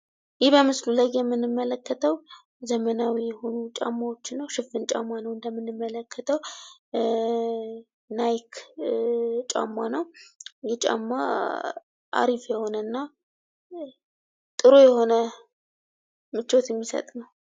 ይህ በምስሉ ላይ የምንመለከተው ዘመናዊ የሆኑ ጫማዎችን ነው ሽፍን ጫማ ነው። እንደምንመለከተው ናይክ ጫማ ነው፤ ይህ ጫማ አሪፍ የሆነ እና ጥሩ የሆነ ምቾት ሚሰጥ ነው።